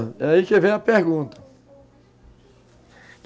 É aí que vem a pergunta.